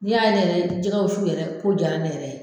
Ni y'a ne yɛrɛ jɛgɛ wusu yɛrɛ ko jaara ne yɛrɛ ye